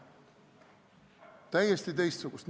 Täiesti teistsugust.